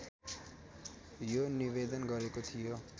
यो निवेदन गरेको थियो